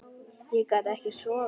Ég gat ekki sofið.